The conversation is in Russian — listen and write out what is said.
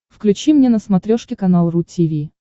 включи мне на смотрешке канал ру ти ви